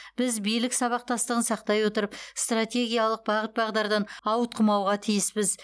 біз билік сабақтастығын сақтай отырып стратегиялық бағыт бағдардан ауытқымауға тиіспіз